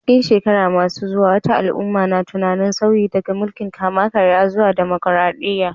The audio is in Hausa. A cikin shekaru masu zuwa, wata al'umma na tunanin sauyi daga mulkin kama karya zuwa dimokuradiyya.